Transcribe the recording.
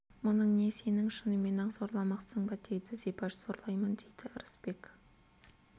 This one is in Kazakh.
мұның не сенің шынымен-ақ зорламақсың ба дейді зибаш зорлаймын дейді ырысбек